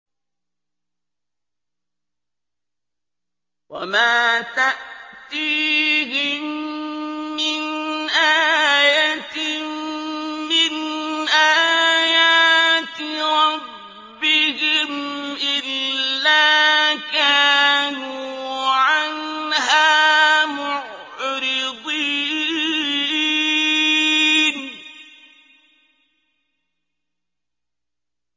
وَمَا تَأْتِيهِم مِّنْ آيَةٍ مِّنْ آيَاتِ رَبِّهِمْ إِلَّا كَانُوا عَنْهَا مُعْرِضِينَ